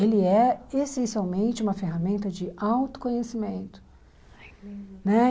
Ele é essencialmente uma ferramenta de autoconhecimento.